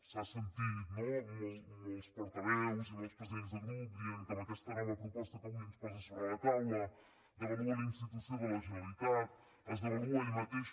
s’ha sentit no molts portaveus i molts presidents de grup dient que amb aquesta nova proposta que avui ens posa sobre la taula devalua la institució de la generalitat es devalua ell mateix